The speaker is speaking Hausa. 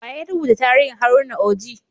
Wa ya rubuta tarihin Haruna Oji?